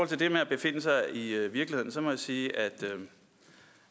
til det med at befinde sig i virkelighedens verden må jeg sige